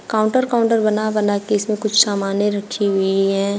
Counter counter बना बना के इसमें कुछ सामने रखी हुई है।